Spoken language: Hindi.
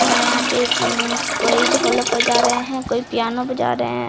और यहाँ पे अम्म कोई ढोलक बजा रहे हैं कोई पियानो बजा रहे --